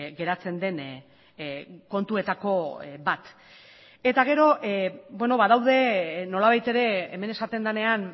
geratzen den kontuetako bat eta gero badaude nolabait ere hemen esaten denean